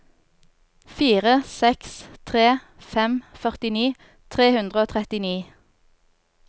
fire seks tre fem førtini tre hundre og trettini